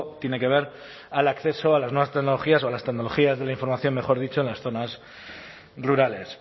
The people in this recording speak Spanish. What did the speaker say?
tiene que ver al acceso a las nuevas tecnologías o las tecnologías de la información mejor dicho en las zonas rurales